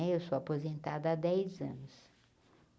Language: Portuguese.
Né eu sou aposentada há dez anos.